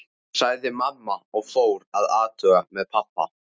sagði mamma og fór að athuga með pabba.